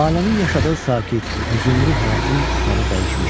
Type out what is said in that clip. Lalənin yaşadığı sakit, hüzünlü həyətin halı dəyişmişdi.